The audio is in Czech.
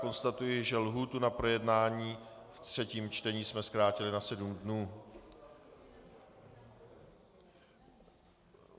Konstatuji, že lhůtu na projednání ve třetím čtení jsme zkrátili na sedm dnů.